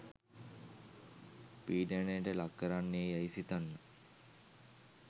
පීඩනයට ලක් කරන්නේ යැයි සිතන්න.